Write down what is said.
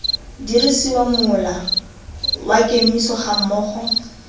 dirisiwa mola wa kemiso gammogo